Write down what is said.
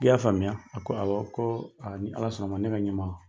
I y'a faamuya, a ko awɔ ko ni ala sɔnna ma ne ka ɲɛma.